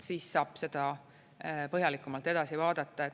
Siis saab seda põhjalikumalt edasi vaadata.